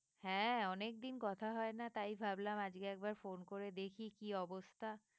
হ্যাঁ অনেকদিন কথা হয় না তাই ভাবলাম আজকে একবার phone করে দেখি কি অবস্থা।